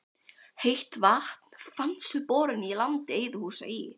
Heitt vatn fannst við borun í landi Eiðhúsa í